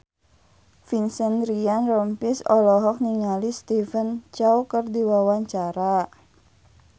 Vincent Ryan Rompies olohok ningali Stephen Chow keur diwawancara